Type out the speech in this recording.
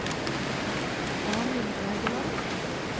Arnhild Egeland